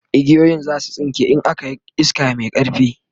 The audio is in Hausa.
igiyoyin zasu tsinke in an Yi iska Mai ƙarfi